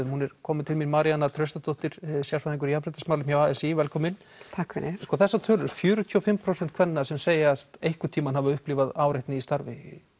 hún er komin til mín Maríanna Traustadóttir sérfræðingur í jafnréttismálum hjá a s í velkomin takk fyrir þessar tölur fjörutíu og fimm prósent kvenna sem segjast einhvern tímann hafa upplifað áreitni í starfi